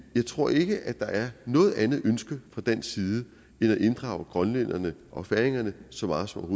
jeg tror ikke at der er noget andet ønske fra dansk side end at inddrage grønlænderne og færingerne så meget som